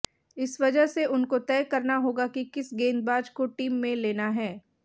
इस वजह से उनको तय करना होगा कि किस गेंदबाज को टीम में लेना है